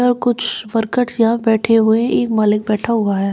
और कुछ बरकट्ठा यहां पे बैठे हुए हैं और एक मालिक बैठा हुआ है।